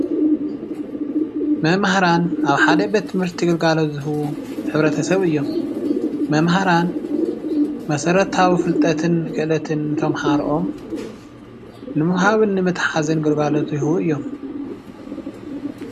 መምሃራን ኣብ ሓደ ቤት ትምህርቲ ግልጋሎት ዝህቡ ሕብረተሰብ እዮም። መምሃራን መሰረታዊ ፍልጠትን ክእለት ን ንተማሃሮኦም ንምሃብን ንምትሓዝን ግልጋሎት ዝህቡ እዮም።